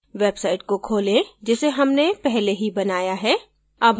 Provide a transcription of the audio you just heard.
website को खोलें जिसे हमने पहले ही बनाया है